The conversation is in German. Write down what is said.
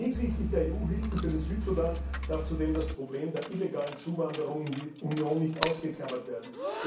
Hinsichtlich der EU Hilfen für den Südsudan darf zudem das Problem der illegalen Zuwanderung in die Union nicht ausgeklammert werden.